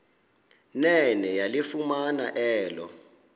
nene yalifumana elo